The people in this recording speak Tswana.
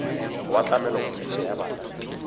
wa tlamelo kgodiso ya bana